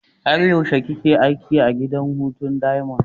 Har yaushe kake aiki a gidan hutu diamond?